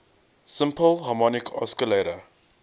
simple harmonic oscillator